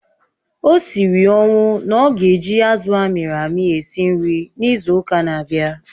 O siri ọnwụ na ọ ga-eji azụ̀ amịrị amị esi nri n'izu ụka na-abịa